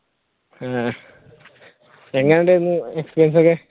എങ്ങനെ ഉണ്ടായിരുന്നു experience ഒക്കെ